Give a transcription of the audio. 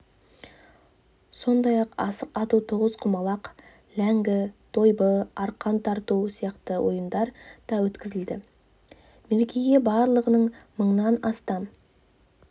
сондай-ақ асық ату тоғызқұмалақ ләңгі дойбы арқан тарту сияқты ойындар да өткізілді мерекеге барлығы мыңнан астам